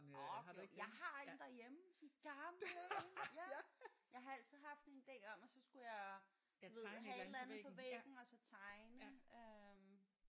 Ok jo jeg har en derhjemme sådan en gammel en ja. Jeg har altid haft en ide om at så skulle jeg ja du ved have et eller andet på væggen og så tegne øh